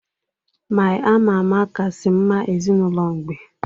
My ama ama kasị mma ezinụlọ mgbe